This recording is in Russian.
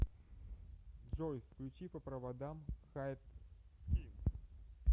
джой включи по проводам хартскин